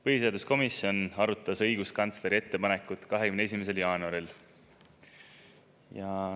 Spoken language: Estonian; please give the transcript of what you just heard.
Põhiseaduskomisjon arutas õiguskantsleri ettepanekut 21. jaanuaril.